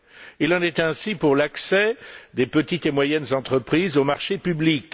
Il en est ainsi pour l'accès des petites et moyennes entreprises aux marchés publics.